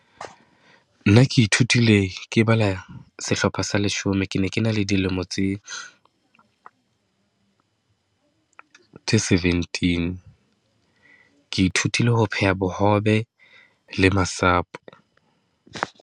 Nna ke ithutile ke bala sehlopha sa leshome, ke ne ke na le dilemo tse tse seventeen, ke ithutile ho pheha bohobe le masapo.